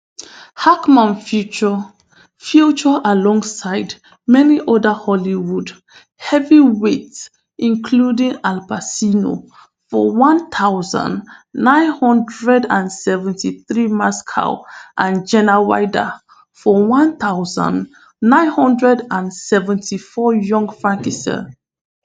hackman feature future alongside many oda hollywood heavyweight including al bacino for one thousand, nine hundred and seventy-three mascow and gena wilder for one thousand, nine hundred and seventy-four young